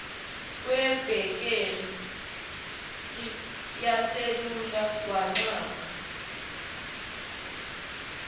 kwebhethri yeselula wanxapha